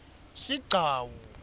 sigcawu